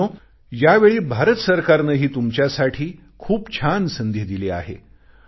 मित्रांनो यावेळी भारत सरकारनेही तुमच्यासाठी खूप छान संधी दिली आहे